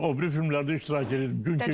O biri filmlərdə iştirak eləyirdim.